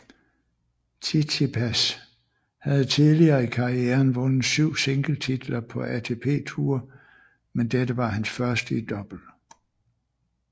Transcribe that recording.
Tsitsipas havde tidligere i karrieren vundet syv singletitler på ATP Tour men dette var hans første i double